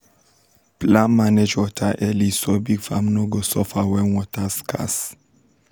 plan manage water early so big farms no go suffer when water scarce